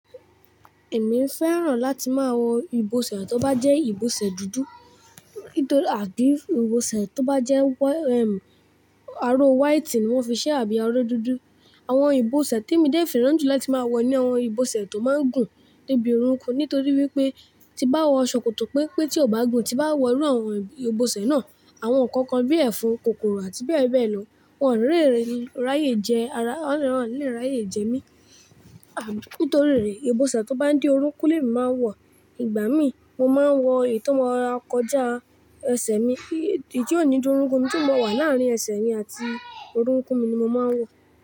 Èmi fẹ́ràn láti máa wọ ìbọsẹ̀ tó bá jẹ́ ìbọsẹ̀ dúdú nítorí àbí ìbọsẹ̀ tó bá jẹ́ wẹ-- aro white ni wọ́n fi ṣe àbí aró dúdú. Àwọn ìbọsẹ̀ témi dé fẹ́ràn jù láti máa wọ ni àwọn ìbọsẹ̀ tó máa ń gùn débi orúnkún nítorí wípé tí bá wọ ṣòkòtò pẹ́npé tí kò bá gùn tí bá wọ irú àwọn ìbọsẹ̀ náà, àwọn nkankan bí ẹ̀fọn, kòkòrò àti bẹ́ẹ̀ bẹ́ẹ̀ lọ, wọ́n o lè raye jẹ ara, wọ́n ni le raye jẹ mí. Àbí nítorí rẹ̀ ìbọsẹ̀ tó bá ń dé orúnkún ni èmi máa ń wọ. Ìgbà mí mo máa ń wọ èyí tó máa ń kọjá ẹsẹ̀ mi, èyí tí yóò ní dórúkún tí ó máa wà láàrin ẹsẹ̀ mi àti orúnkún mi ni mo máa ń wọ.